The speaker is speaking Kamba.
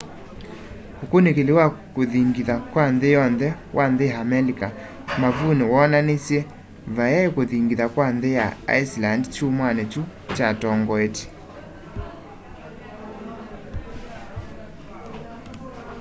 ũkunîkîli wa kûthingitha kwa nthî yonthe wa nthî ya amelika mavunî woonanisye vayai kûthingitha kwa nthî ya iceland kyumwanî kyu kyatongoetye